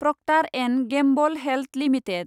Procter and Gamble health limited